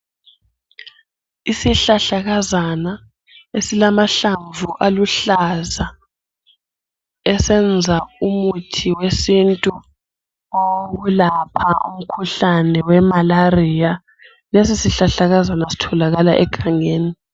Isihlahla kazana esilamahlamvu aluhlaza esenza umuthi wesintu wokwelapha umkhuhlane wemarariya lesi sihlahlakazana sitholakala egangeni.